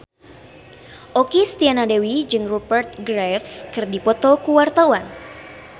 Okky Setiana Dewi jeung Rupert Graves keur dipoto ku wartawan